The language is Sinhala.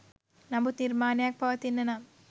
නමුත් නිර්මාණයක් පවතින්න නම්